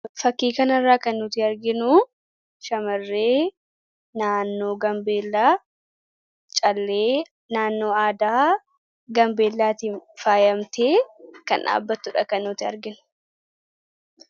fakkii kana irraa kan nuti arginu shamarree naannoo gambeellaa callee naannoo aadaa gambeellaatiin faayamtee kan dhaabbattudha kan nuti arginu.